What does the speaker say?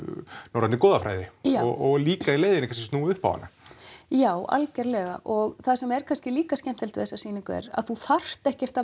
norrænni goðafræði og líka í leiðinni að snúa upp á hana já algjörlega og það sem er kannski líka skemmtilegt er að þú þarft ekkert að